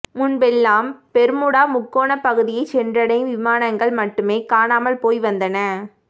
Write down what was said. முன்பெல்லாம் பெர்முடா முக்கோண பகுதியை சென்றடையும் விமானங்கள் மட்டுமே காணாமல் போய் வந்தன